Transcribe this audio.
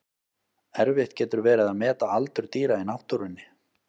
Erfitt getur verið að meta aldur dýra í náttúrunni.